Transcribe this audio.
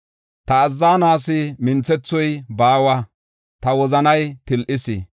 Ta azzanuwas minthethoy baawa; ta wozanay til7is.